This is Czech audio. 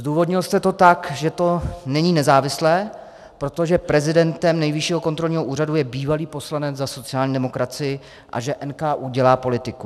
Zdůvodnil jste to tak, že to není nezávislé, protože prezidentem Nejvyššího kontrolního úřadu je bývalý poslanec za sociální demokracii a že NKÚ dělá politiku.